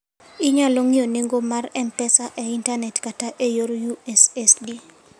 Inyalo ng'iyo nengo mag M-Pesa e intanet kata e yor USSD.